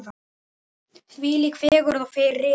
Þvílík fegurð og friður.